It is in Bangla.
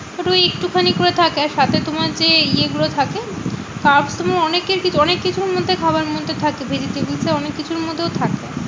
ওই একটুখানি করে থাকে। সাথে তোমার যে ইয়েগুলো থাকে তোমার অনেককিছু অনেক কিছুর মধ্যে খাবার মধ্যে থাকে। vegetable টা অনেককিছুর মধ্যেও থাকে।